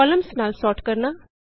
columns ਨਾਲ sort ਕਰਨਾ